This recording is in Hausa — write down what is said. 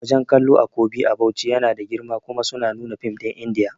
Wajan kallo a Kobi a Bauchi yana da girma kuma suna nuna fim ɗin indiya